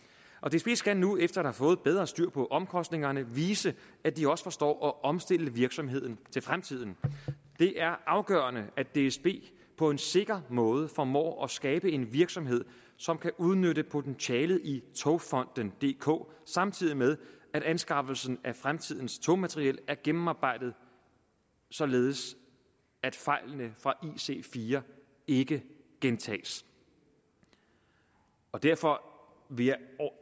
skal nu efter at have fået bedre styr på omkostningerne vise at de også forstår at omstille virksomheden til fremtiden det er afgørende at dsb på en sikker måde formår at skabe en virksomhed som kan udnytte potentialet i togfonden dk samtidig med at anskaffelsen af fremtidens togmateriel er gennemarbejdet således at fejlene fra ic4 ikke gentages derfor vil jeg